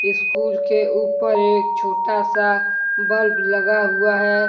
School के ऊपर एक छोटा सा बल्ब लगा हुआ है।